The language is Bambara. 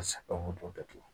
datugu